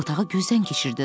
Otağı gözdən keçirdi.